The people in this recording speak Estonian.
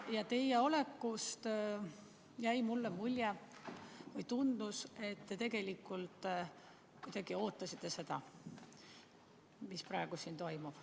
Teie olekust jäi mulle mulje või tundus, et te tegelikult kuidagi ootasite seda, mis praegu siin toimub.